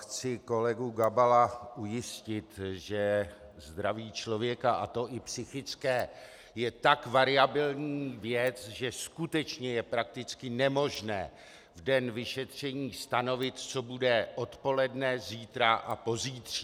Chci kolegu Gabala ujistit, že zdraví člověka, a to i psychické, je tak variabilní věc, že skutečně je prakticky nemožné v den vyšetření stanovit, co bude odpoledne, zítra a pozítří.